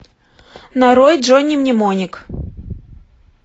нарой джонни мнемоник